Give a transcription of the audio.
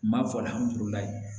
N b'a fɔ